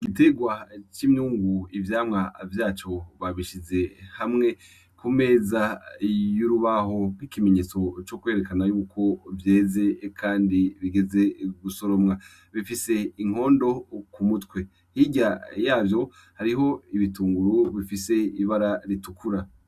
Igitegwa c'imyungu ivyamwa vyaco babishize hamwe ku meza y'urubaho n'ikimenyetso co kwerekana yuko vyeze, kandi bigeze gusoromwa bifise inkondo ku mutwe hirya yavyo hariho ibitunguru bifise ibara ritukura.